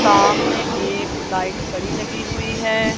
सामने एक लाइट बड़ी लगी हुई है।